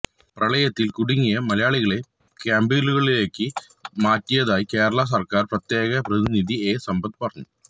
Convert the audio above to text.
പ്രളയത്തില് കുടുങ്ങിയ മലയാളികളെ ക്യാമ്പുകളിലേക്ക് മാറ്റിയതായി കേരളാ സര്ക്കാര് പ്രത്യേക പ്രതിനിധി എ സമ്പത്ത് പറഞ്ഞു